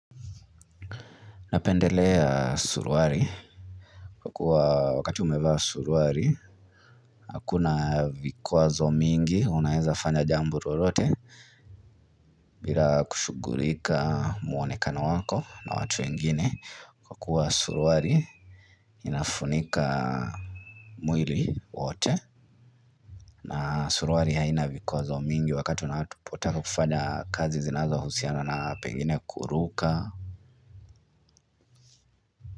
Ninapendelea suruali Kwa kuwa wakati umevaa suruali Hakuna vikuazo mingi Unaweza fanya jambo lolote bila kushughulika muonekano wako na watu wengine Kwa kuwa suruali Inafunika mwili wote na suruali haina vikuazo mingi Wakati unapotaka kufanya kazi zinazo husiana na pengine kuruka.